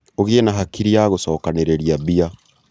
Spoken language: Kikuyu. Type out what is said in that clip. ũgĩe na hakiri ya gũcokanĩrĩria mbia